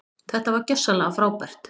Þetta var gjörsamlega frábært.